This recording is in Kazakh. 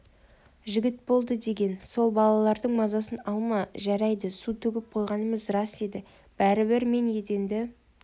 жігіт болды деген сол балалардың мазасын алма жарайды су төгіп қойғанымыз рас еді бәрібір мен еденді